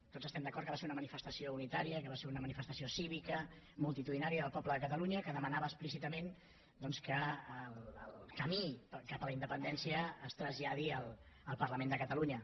tots estem d’acord que va ser una manifestació unitària que va ser una manifestació cívica multitudinària del poble de catalunya que demanava explícitament doncs que el camí cap a la independència es traslladi al parlament de catalunya